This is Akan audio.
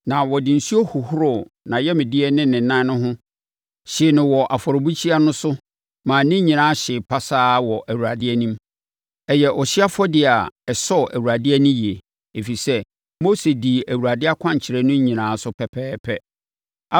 Na ɔde nsuo hohoroo nʼayamdeɛ ne ne nan no ho hyee no wɔ afɔrebukyia no so maa ne nyinaa hyee pasaa wɔ Awurade anim. Ɛyɛ ɔhyeɛ afɔdeɛ a ɛsɔɔ Awurade ani yie, ɛfiri sɛ, Mose dii Awurade akwankyerɛ no nyinaa so pɛpɛɛpɛ.